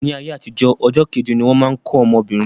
Ní ayé àtijó, ọjọ́ keje ni wọ́n má ń kó ọmọbìnrin.